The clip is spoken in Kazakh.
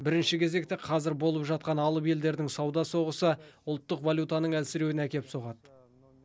бірінші кезекте қазір болып жатқан алып елдердің сауда соғысы ұлттық валютаның әлсіреуіне әкеп соғады